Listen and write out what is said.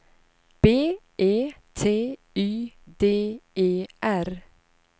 B E T Y D E R